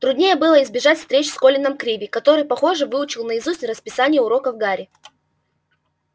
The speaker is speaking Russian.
труднее было избежать встреч с колином криви который похоже выучил наизусть расписание уроков гарри